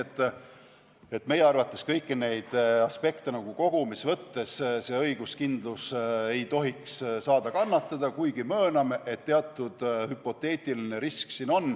Nii et meie arvates kõiki neid aspekte kogumis võttes ei tohiks õiguskindlus kannatada, kuigi mööname, et teatud hüpoteetiline risk siin on.